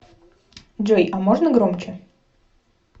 джой а можно громче